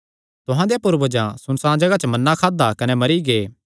तुहां देयां पूर्वजां सुनसाण जगाह च मन्ना खादा कने मरी गै